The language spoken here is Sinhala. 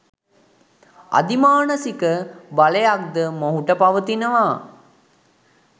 අධි මානසික බයලක් ද මොහුට පවතිනවා